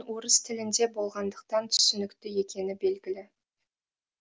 қанша дегенмен орыс тілінде болғандықтан түсінікті екені белгілі